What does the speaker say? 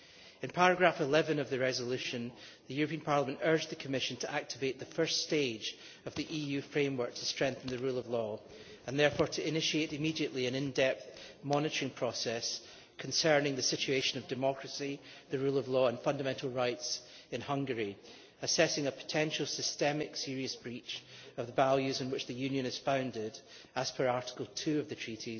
In paragraph 11 of the resolution the European Parliament urged the Commission to activate the first stage of the EU framework to strengthen the rule of law, and therefore to initiate immediately an in depth monitoring process concerning the situation of democracy, the rule of law and fundamental rights in Hungary, assessing a potential systemic serious breach of the values on which the Union is founded as per Article 2 TEU